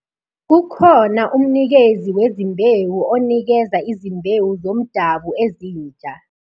Kukhona umnikezi wezimbewu onikeza izimbewu zomdabu ezinsha.